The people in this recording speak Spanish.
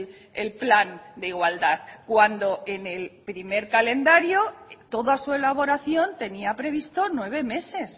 el plan de igualdad cuando en el primer calendario toda su elaboración tenía previsto nueve meses